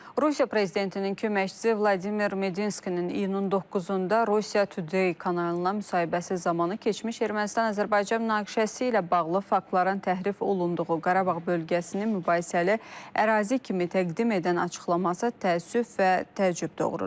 Rusiya prezidentinin köməkçisi Vladimir Medinskinin iyunun 9-da Rusiya Today kanalına müsahibəsi zamanı keçmiş Ermənistan-Azərbaycan münaqişəsi ilə bağlı faktların təhrif olunduğu, Qarabağ bölgəsini mübahisəli ərazi kimi təqdim edən açıqlaması təəssüf və təəccüb doğurur.